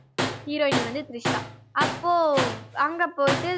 heroin னி வந்து திரிஷா அப்போ அங்க போயிட்டு